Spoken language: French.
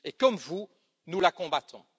Et, comme vous, nous la combattons.